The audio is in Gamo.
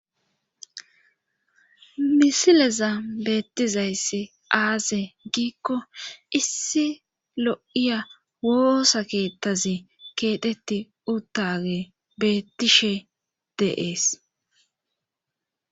Hisileza beettizayssi aaze giikko issi lo7iya woosa keettazi keetetti urtage beettishe deees